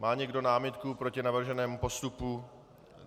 Má někdo námitku proti navrženému postupu?